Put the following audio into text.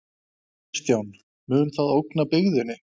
Kristján: Mun það ógna byggðinni?